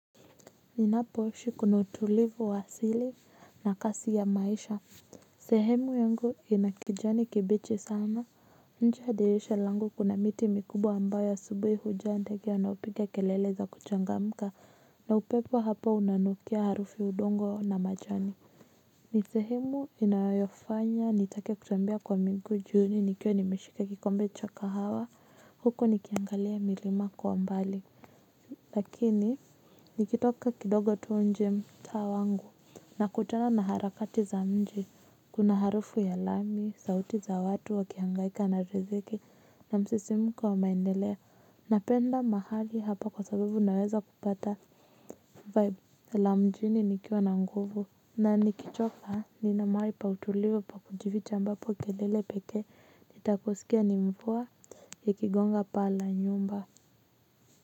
Ninapoishi kuna utulivu wa asili na kasi ya maisha. Sehemu yangu inakijani kibichi sana. Nje ya dirisha langu kuna miti mikubwa ambayo asubuhi hujaa ndege wanaopiga kelele za kuchangamka na upepo hapa unanukia harufi udongo na majani. Nisehemu inayofanya nitake kutembea kwa miguu jioni nikiwa nimeshika kikombe cha kahawa huko nikiangalia milima kwa mbali lakini nikitoka kidogo tu nje mtaa wangu na kutana na harakati za mji kuna harufu ya lami sauti za watu wakihangaika na riziki na msisimko wa maendelea na penda mahali hapa kwa sababu naweza kupata vibe la mjini nikiwa na nguvu na nikichoka nina mahali pa utulivu pa kujificha ambapo kelele pekee nitakusikia ni mvua ya kigonga paa la nyumba.